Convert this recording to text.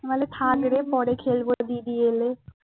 বলে থাকলে পরে খেলবো দিদি এলে